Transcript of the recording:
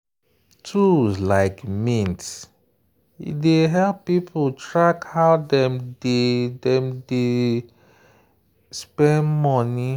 tools like mint dey help people track how dem dey dem dey spend money.